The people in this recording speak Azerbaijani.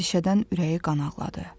əndişədən ürəyi qanağladı.